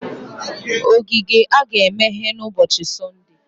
ogige a ga-emeghe n'ụbọchi Sọnde?